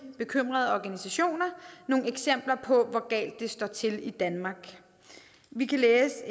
bekymrede organisationer nogle eksempler på hvor galt det står til i danmark vi kan læse